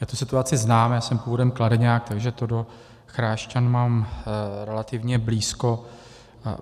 Já tu situaci znám, já jsem původem Kladeňák, takže to do Chrášťan mám relativně blízko.